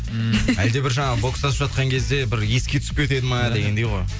ммм әлде бір жаңағы бокстасып жатқанда кезде бір еске түсіп кетеді ме дегендей ғой